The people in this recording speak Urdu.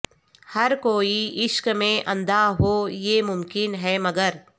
ہر کوئی عشق میں اندھاہو یہ ممکن ہے مگر